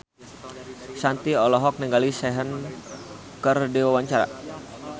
Shanti olohok ningali Sehun keur diwawancara